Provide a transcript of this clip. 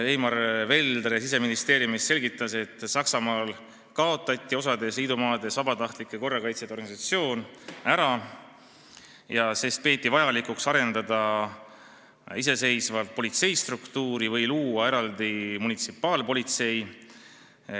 Eimar Veldre Siseministeeriumist selgitas, et Saksamaal on osas liidumaades vabatahtlike korrakaitsjate organisatsioon kaotatud, sest peetakse vajalikuks arendada iseseisvat politseistruktuuri või luua eraldi munitsipaalpolitsei.